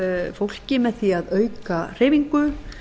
fólki með því að auka hreyfingu